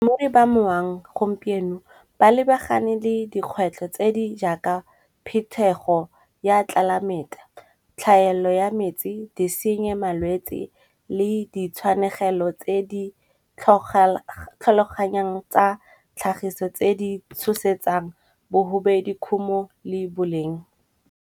Mo e ba moang gompieno ba lebagane le dikgwetlho tse di jaaka phetego ya tlelaemete. Tlhaelo ya metsi, disenyi le malwetsi le ditshwanegelo tse di tlhaloganyang tsa tlhagiso tse di tshosetsang bogobe dikhumo le boleng.